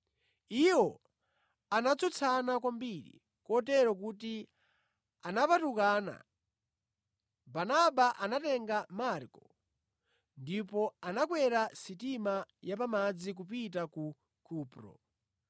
Iwo anatsutsana kwambiri kotero kuti anapatukana. Barnaba anatenga Marko ndipo anakwera sitima ya pamadzi kupita ku Kupro.